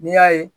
N'i y'a ye